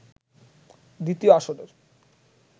দ্বিতীয় আসরের